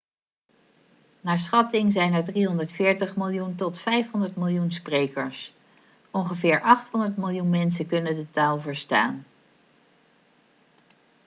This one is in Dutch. naar schatting zijn er 340 miljoen tot 500 miljoen sprekers ongeveer 800 miljoen mensen kunnen de taal verstaan